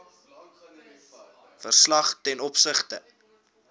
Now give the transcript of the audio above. verslag ten opsigte